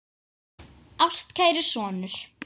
Ástkæri sonur